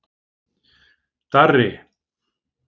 Darri